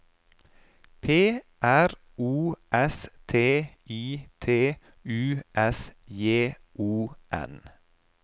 P R O S T I T U S J O N